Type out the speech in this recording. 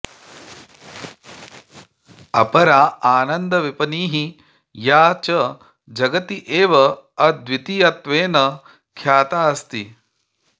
अपरा आनन्दविपणिः या च जगति एव अद्वितीयत्वेन ख्याता अस्ति